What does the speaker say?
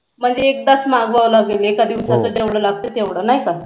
म्हणजे एकदाच मागवाव लागेल एका दिवसाला जेवढ लागत तेवढ नाही का हो